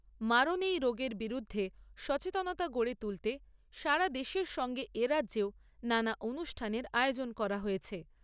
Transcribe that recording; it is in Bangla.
মারণ এই রোগের বিরুদ্ধে সচেতনতা গড়ে তুলতে সারা দেশের সঙ্গে এ রাজ্যেও নানা অনুষ্ঠানের আয়োজন করা হয়েছে।